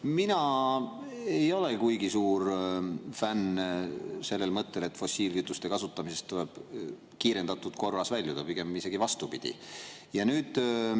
Mina ei ole kuigi suur selle mõtte fänn, et fossiilkütuste kasutamisest tuleb kiirendatud korras väljuda, pigem isegi vastupidi.